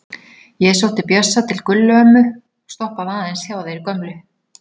Ég sótti Bjössa til Gullu ömmu og stoppaði aðeins hjá þeirri gömlu.